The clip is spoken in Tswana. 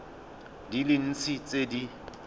di le dintsi tse di